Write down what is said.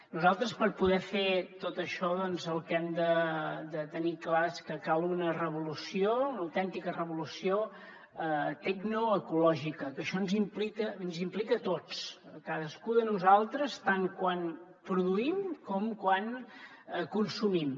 nosaltres per poder fer tot això el que hem de tenir clar és que cal una revolució una autèntica revolució tecnoecològica que això ens implica a tots a cadascú de nosaltres tant quan produïm com quan consumim